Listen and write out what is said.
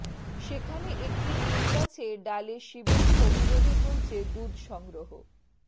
সেখানে একটি নিমগাছে ডালে শিবের ছবি বেঁধে চলছে দুধ সংগ্রহ